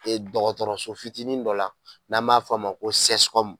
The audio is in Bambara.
E dɔgɔtɔrɔso fitinin dɔ la n'a b'a fɔ a ma ko sɛsikɔmu